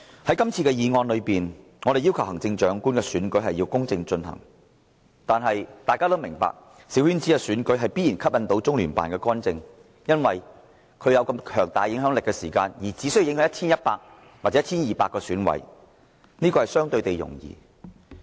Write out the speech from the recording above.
在今次的議案中，我們要求行政長官的選舉要公正進行，但大家都明白小圈子選舉必然吸引中聯辦的干預，因為他們有這麼強大的影響力，而且只需要影響 1,100 或 1,200 名選委便足夠，這目標相對容易達成。